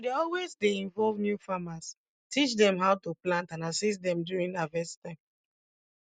we dey always dey involve new farmers teach dem how to plant and assist dem during harvest time